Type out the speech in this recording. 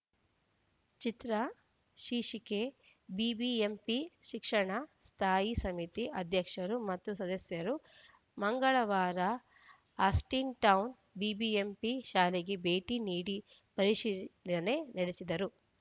ಚಿತ್ರ ಶೀರ್ಷಿಕೆ ಬಿಬಿಎಂಪಿ ಶಿಕ್ಷಣ ಸ್ಥಾಯಿ ಸಮಿತಿ ಅಧ್ಯಕ್ಷರು ಮತ್ತು ಸದಸ್ಯರು ಮಂಗಳವಾರ ಆಸ್ಟಿನ್‌ಟೌನ್‌ ಬಿಬಿಎಂಪಿ ಶಾಲೆಗೆ ಭೇಟಿ ನೀಡಿ ಪರಿಶೀಲನೆ ನಡೆಸಿದರು